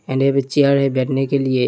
एने बच्चे आ रहे बेठने के लिए।